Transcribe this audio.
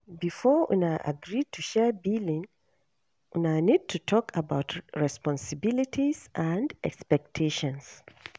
Before una agree to share billing una need to talk about responsibilities and expectations